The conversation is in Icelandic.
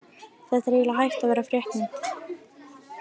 Þetta er eiginlega hætt að vera fréttnæmt!!